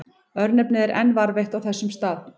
Örnefnið er enn varðveitt á þessum stað.